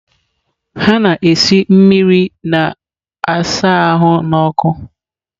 Ha na-esi mmiri na-asa ahụ n’ọkụ.